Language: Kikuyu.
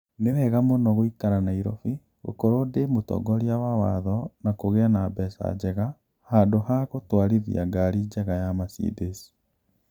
Nĩ wega mũno gũikara Nairobi, gũkorwo ndĩ mũtongoria wa watho na kũgĩa na mbeca njega, handũ ha gũtwarithia ngari njega ya Mercedes.